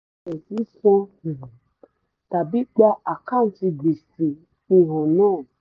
um tàbí gba àkántì gbèsè fihan náà